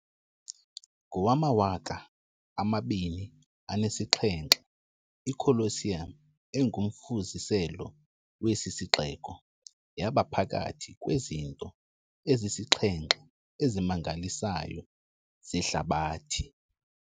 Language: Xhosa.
Ngowama-2007 iColosseum, engumfuziselo wesi sixeko, yaba phakathi kwezinto ezisixhenxe ezimangalisayo zehlabathi.